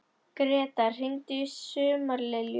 Gretar, hringdu í Sumarlilju.